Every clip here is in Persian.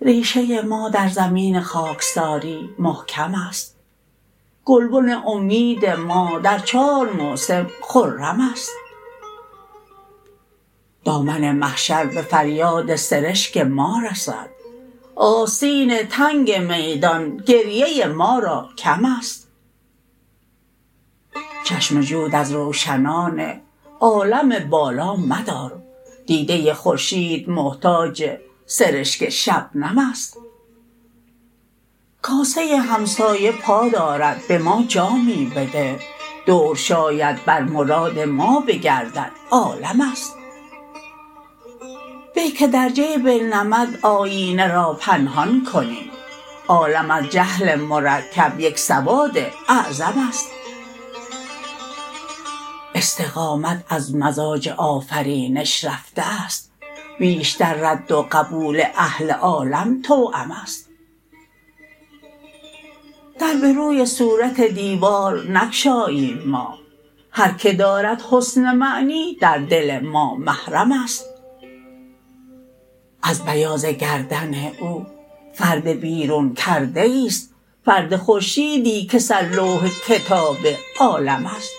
ریشه ما در زمین خاکساری محکم است گلبن امید ما در چار موسم خرم است دامن محشر به فریاد سرشک ما رسد آستین تنگ میدان گریه ما را کم است چشم جود از روشنان عالم بالا مدار دیده خورشید محتاج سرشک شبنم است کاسه همسایه پا دارد به ما جامی بده دور شاید بر مراد ما بگردد عالم است به که در جیب نمد آیینه را پنهان کنیم عالم از جهل مرکب یک سواد اعظم است استقامت از مزاج آفرینش رفته است بیشتر رد و قبول اهل عالم توأم است در به روی صورت دیوار نگشاییم ما هر که دارد حسن معنی در دل ما محرم است از بیاض گردن او فرد بیرون کرده ای است فرد خورشیدی که سر لوح کتاب عالم است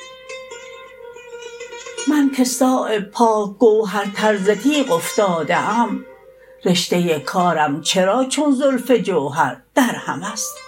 من که صایب پاک گوهرتر ز تیغ افتاده ام رشته کارم چرا چون زلف جوهر درهم است